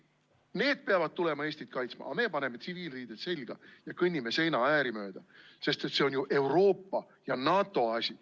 Need peavad tulema Eestit kaitsma, aga meie paneme tsiviilriided selga ja kõnnime seinaääri mööda, sest see on ju Euroopa ja NATO asi.